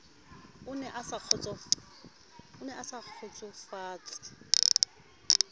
e ne e sa kgotsofatse